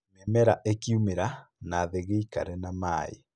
Mĩmera ĩkĩumera, nathĩ gĩikare na maĩĩ